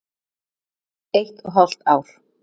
Eitt og hálft ár.